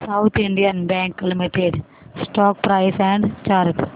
south Indian bank limited stock price and chart